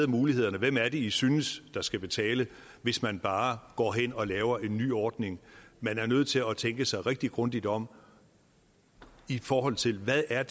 mulighederne hvem er det i synes der skal betale hvis man bare går hen og laver en ny ordning man er nødt til at tænke sig rigtig grundigt om i forhold til hvad det er